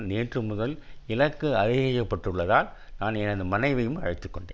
நேற்று முதல் இலக்கு அதிகரிக்கப்பட்டுள்ளதால் நான் எனது மனைவியையும் அழைத்துக்கொண்டேன்